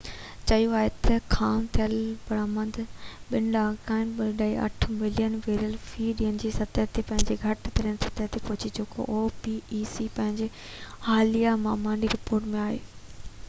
پنهنجي حاليه مهاني رپورٽ ۾ opec چيو آهي ته خام تيل جي برآمد ٻن ڏهاڪن تائين 2.8 ملين بيرل في ڏينهن جي سطح تي پنهنجي گھٽ ترين سطح تي پهچي چڪي آهي